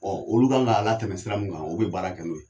Ɔ olu kan k'a latɛmɛ sira min kan o be baarakɛ n'o ye